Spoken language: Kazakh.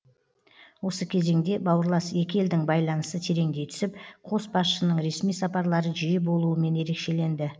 осы кезеңде бауырлас екі елдің байланысы тереңдей түсіп қос басшының ресми сапарлары жиі болуымен ерекшеленді